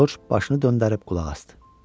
Corc başını döndərib qulaq asdı.